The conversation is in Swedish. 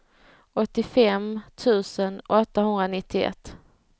åttiofem tusen åttahundranittioett